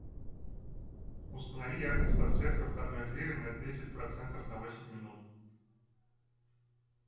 установи яркость подсветка входной двери на десять процентов на восемь минут